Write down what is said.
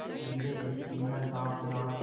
गुजरे ऐसी हर रात रात